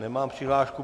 Nemám přihlášku.